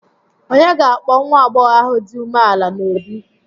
Ònye ga-akpọ nwa agbọghọ ahụ dị umeala n'obi?